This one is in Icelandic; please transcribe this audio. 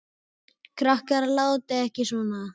Krakkar látiði ekki svona!